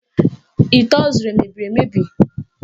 Ite ọ zụrụ emebiri mebiri?